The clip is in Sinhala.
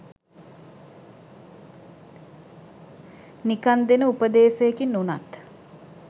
නිකන් දෙන උපදේසයකින් උනත්